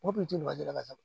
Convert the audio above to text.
Mɔgɔ kun tɛ ɲama jate ka